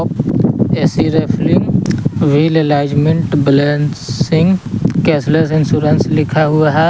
ए C refilling wheel alignment balancing cashless insurance लिखा हुआ है।